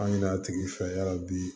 An ɲin'a tigi fɛ ya bi